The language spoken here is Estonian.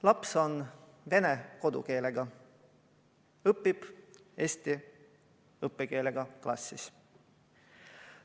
Laps on vene kodukeelega, õpib eesti õppekeelega klassis.